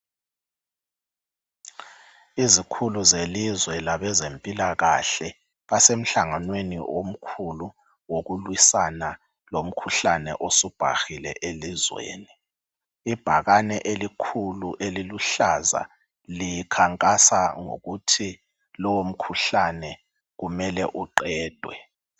Izikhulu zelizwe labezempilakahle basemhlanganweni omkhulu wokulwisana lomkhuhlane osubhahile elizweni. Ibhakane elikhulu eliluhlaza, likhankasa ukuthi lowomkhuhlane, kumele uqedwe.